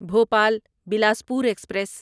Bhopal Bilaspur express